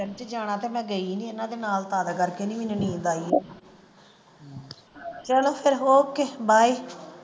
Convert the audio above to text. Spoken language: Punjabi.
ਜਾਣਾ ਤੇ ਮੈਂ ਗਈ ਨਹੀਂ ਇਹਨਾਂ ਦੇ ਨਾਲ ਤੱਦ ਕਰਕੇ ਨੀ ਮੈਨੂੰ ਨੀਂਦ ਆਈ ਚਲੋ ਫਿਰ okay bye.